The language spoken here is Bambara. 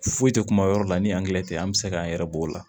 Foyi tɛ kuma yɔrɔ la ni tɛ an bɛ se k'an yɛrɛ b'o la